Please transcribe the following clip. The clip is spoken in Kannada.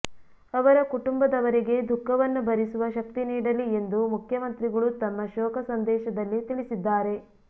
ಅವರ ಕುಟುಂಬದವರಿಗೆ ದುಃಖವನ್ನು ಭರಿಸುವ ಶಕ್ತಿ ನೀಡಲಿ ಎಂದು ಮುಖ್ಯಮಂತ್ರಿಗಳು ತಮ್ಮ ಶೋಕ ಸಂದೇಶದಲ್ಲಿ ತಿಳಿಸಿದ್ದಾರೆ